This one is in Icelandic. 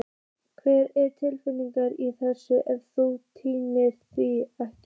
Hver er tilgangurinn í þessu ef þú nýtur þín ekki?